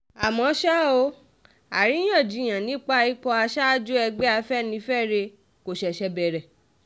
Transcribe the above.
àmọ́ ṣá o àríyànjiyàn nípa ipò aṣáájú ẹgbẹ́ afẹ́nifẹ́re kò ṣẹ̀ṣẹ̀ bẹ̀rẹ̀